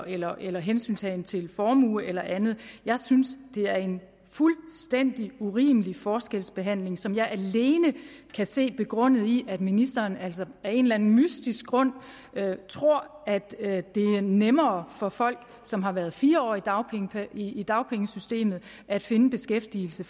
eller eller hensyntagen til formue eller andet jeg synes det er en fuldstændig urimelig forskelsbehandling som jeg alene kan se begrundet i at ministeren altså af en eller anden mystisk grund tror at det er nemmere for folk som har været fire år i i dagpengesystemet at finde beskæftigelse